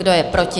Kdo je proti?